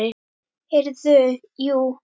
Heyrðu, jú.